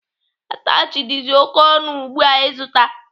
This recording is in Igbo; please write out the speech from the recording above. Atachị dizi m oké ọnụ ugbu a ịzụta.